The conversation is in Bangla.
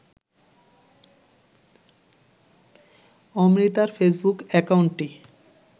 অমৃতার ফেসবুক অ্যাকাউন্টটি